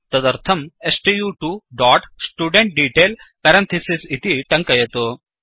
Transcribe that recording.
तदर्थं stu2studentDetail इति टङ्कयतु